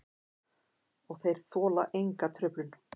Og þeir þola enga truflun.